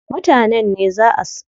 Mutanen ne zaa su jefa ƙuriʼun su.